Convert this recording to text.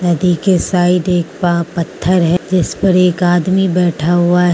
नदी के साइड एक पा पत्थर है जिस पर एक आदमी बैठा हुआ है।